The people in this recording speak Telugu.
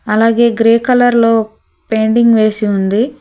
అలాగే గ్రే కలర్లో పెయింటింగ్ వేసి ఉంది.